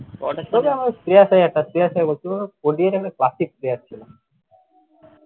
শ্রেয়াস আয়ার একটা শ্রেয়াস বুঝতে পারলে ODI তে classic ছিল